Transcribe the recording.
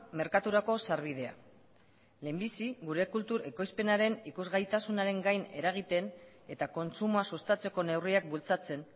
merkaturako sarbidea lehenbizi gure kultur ekoizpenaren ikusgaitasunaren gain eragiten eta kontsumoa sustatzeko neurriak bultzatzen